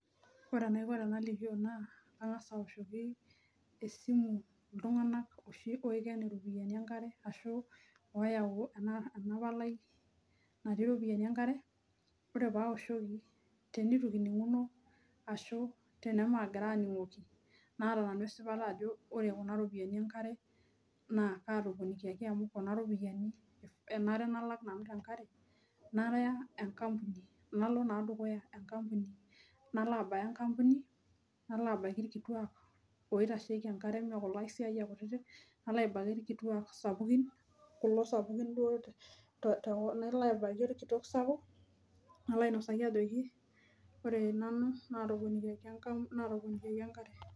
Ore enaiko tanalikio ena kangasa aoshoki esimu ltunganak oshi oiken iropiyiani enkare ashu oyau enapalai natii ropiyani enkare ore paoshoki tenitukininguni ashu tenituaningoki naata nanu esipata ajo lre kuna ropiyani enkare na katoponiaki amu ena alak nanu tenkare naya enkampuni, nalo na dukuya enkampuni nalo abaya enkampuni nalo abaki irkituak oitasheki enkare laisiayiak kutitik nalo abaki irkituak sapukin kulo sapukin duo te nalo abaki sapukini orkitok sapuk nalo ainosaki ajoki ore nanu natoponikiaki enkare .